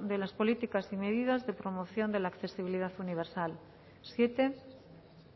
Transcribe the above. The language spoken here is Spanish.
de las políticas y medidas de promoción de la accesibilidad universal siete